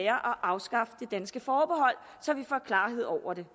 at afskaffe det danske forbehold så vi får klarhed over det